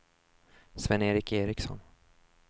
Sven-Erik Ericsson